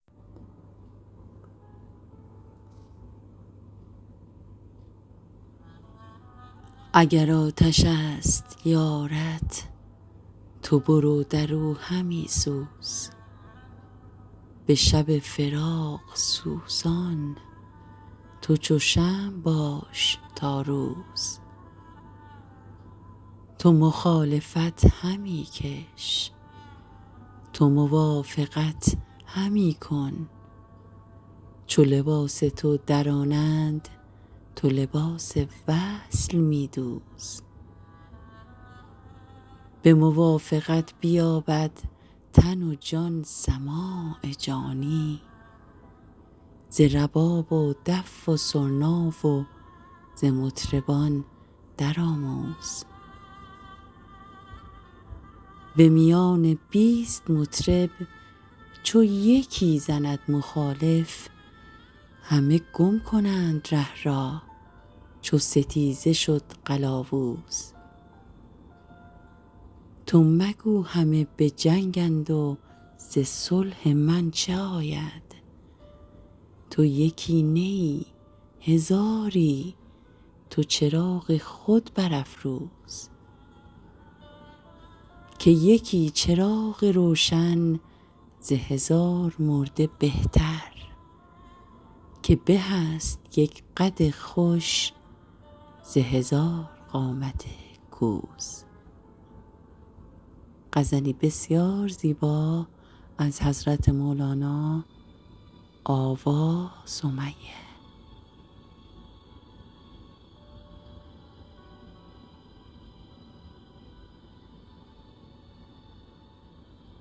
اگر آتش است یارت تو برو در او همی سوز به شب فراق سوزان تو چو شمع باش تا روز تو مخالفت همی کش تو موافقت همی کن چو لباس تو درانند تو لباس وصل می دوز به موافقت بیابد تن و جان سماع جانی ز رباب و دف و سرنا و ز مطربان درآموز به میان بیست مطرب چو یکی زند مخالف همه گم کنند ره را چو ستیزه شد قلاوز تو مگو همه به جنگند و ز صلح من چه آید تو یکی نه ای هزاری تو چراغ خود برافروز که یکی چراغ روشن ز هزار مرده بهتر که به است یک قد خوش ز هزار قامت کوز